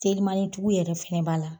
Telimanin tigiw yɛrɛ fɛnɛ b'a la.